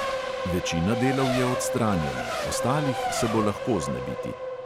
Večina delov je odstranjena, ostalih se bo lahko znebiti.